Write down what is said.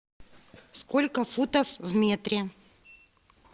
сколько футов в метре